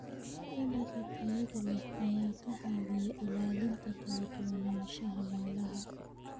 Dalagga tayada leh ayaa ka caawiya ilaalinta kala duwanaanshaha noolaha.